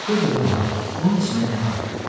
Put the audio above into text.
De görüm, ana, bunun içində nə var?